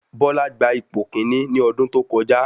Bọ́lá gba ipò kíní ní ọdún tó kọjá.